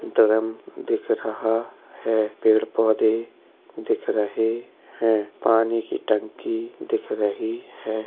Drum दिख रहा है। पेड़ पौधे दिख रहे हैं। पानी की टंकी दिख रही है।